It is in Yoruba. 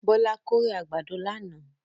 Bọlá kórè àgbàdo lánàá.